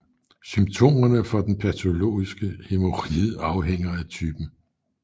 Symptomerne for den patologiske hæmoride afhænger af typen